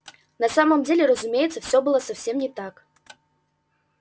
на самом деле разумеется всё было совсем не так